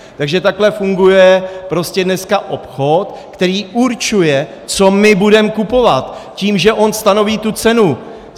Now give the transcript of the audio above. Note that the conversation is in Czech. Takže takhle funguje prostě dneska obchod, který určuje, co my budeme kupovat, tím, že on stanoví tu cenu.